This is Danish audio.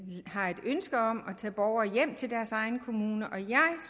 har et ønske om at tage borgere hjem til deres egne kommuner og jeg